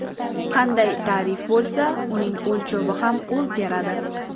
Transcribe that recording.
Qanday ta’rif bo‘lsa, uning o‘lchovi ham o‘zgaradi.